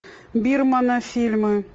бирмана фильмы